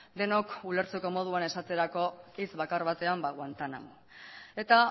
denok ulertzeko moduan esateko hitz bakarrean guantánamo eta